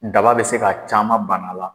Daba bɛ se ka caman bana a la